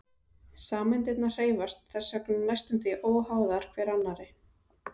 Sameindirnar hreyfast þess vegna næstum því óháðar hver annarri.